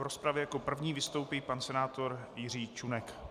V rozpravě jako první vystoupí pan senátor Jiří Čunek.